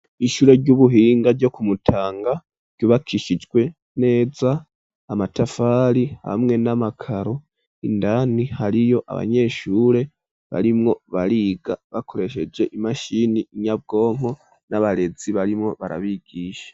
Ishure ry'ubuhinga ryo kumutanga ryubakishijwe neza amatafari hamwe n'amakaro indani hariyo abanyeshure barimwo bariga bakoresheje imashini inyabwonko n'abarezi barimo barabigisha.